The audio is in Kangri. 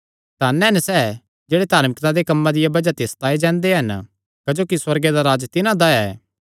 धन हन सैह़ जेह्ड़े धार्मिकता दे कम्मां दिया बज़ाह ते सताये जांदे हन क्जोकि सुअर्ग दा राज्ज तिन्हां दा ऐ